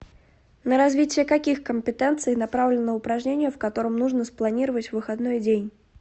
на развитие каких компетенций направлено упражнение в котором нужно спланировать выходной день